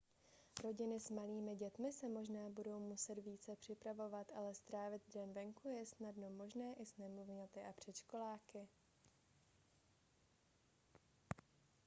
rodiny s malými dětmi se budou možná muset více připravovat ale strávit den venku je snadno možné i s nemluvňaty a předškoláky